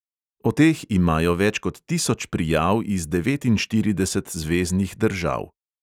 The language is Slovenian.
O teh imajo več kot tisoč prijav iz devetinštirideset zveznih držav.